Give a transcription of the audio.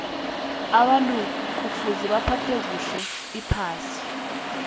abantu kufuza baphathe kuhle iphasi